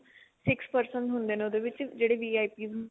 six person ਹੁੰਦੇ ਨੇ ਉਹਦੇ ਵਿੱਚ ਜਿਹੜੇ VIP